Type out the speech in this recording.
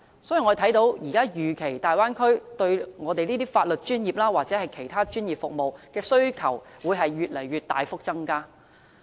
所以，我們預期大灣區對法律專業或其他專業服務的需求會持續大幅增加。